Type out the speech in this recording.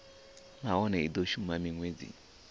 nahone i do shuma minwedzi